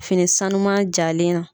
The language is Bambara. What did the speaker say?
Finisanuma jalen na.